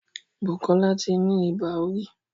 Bukola tí ní Ibà orí